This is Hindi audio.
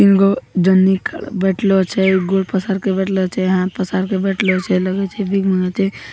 तींगों जनी बैठलो छे गोड़ पसार के बैठला छे पसार के बैठला छे लागी छे भीख मांगे छे।